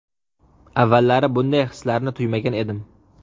Avvallari bunday hislarni tuymagan edim.